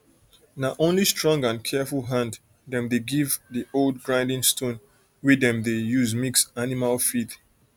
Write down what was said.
na only strong and careful hand dem dey give di old grinding stone wey dem dey use mix animal feed